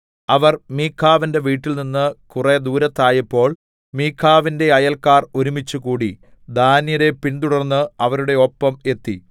അവർ മീഖാവിന്റെ വീട്ടിൽനിന്ന് കുറെ ദൂരത്തായപ്പേൾ മീഖാവിന്റെ അയൽക്കാർ ഒരുമിച്ചുകൂടി ദാന്യരെ പിന്തുടർന്ന് അവരുടെ ഒപ്പം എത്തി